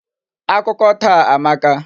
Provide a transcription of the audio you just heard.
Akụkọ taa amaka.